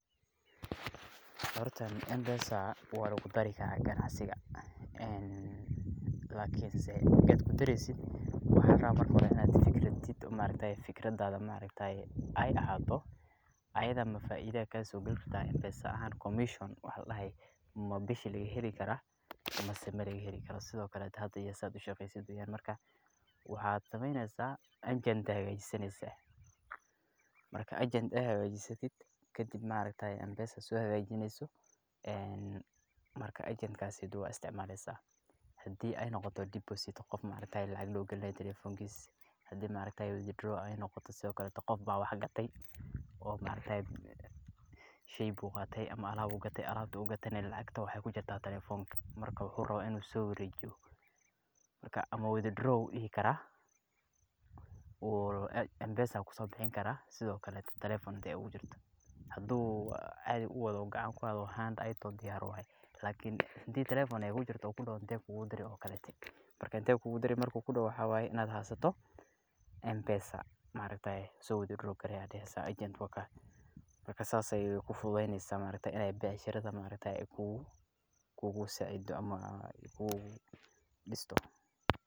Horta mpesa waa lagu dari karaa ganacsiga, lakin marki aad ku dareeysid waxaa larabaa marka hore inaad fikir hayso oo fikradaada aay ahaato ayada ma faaida ayaa kasoo gali rabtaa mpesa ahaan commision wax ladahaay maa bishi laga heli karaa mise malaga heli karo, sido kale hada iyo sidaad ushaqeeysato, mida kale waxaad sameeneysa agent ayaa hagaajisaneyaa, marka aad hagajisato kadib waad isticmaleysa, hadii aay noqoto deposit qof lacag loo galinaayo telefonkiisa, hadii aay noqoto withdraw sido kale qof ayaa wax gate, oo sheey buu qaate ama alaab buu gate, marka alaabta ugateyna lacagta waxeey kujirtaa telefonka, marka muxuu rabaa inuu soo wareejiyo, ama withdraw ayuu dihi karaa, mpesa ayuu kasoo bixin karaa sido kale telefoon hadaay oogu jirto, sido kale hadii uu gacan kuwato diyaar waye lakin hadii telefoon aay kujirto uu kudoho inteen kuugu diri, waxaa waye inaad haysato mpesa ,soo withdraw garee ayaad daheysa agent wakaa, marka saas ayeey kuugu fududeeyneysa inaay becshirada kuu disto.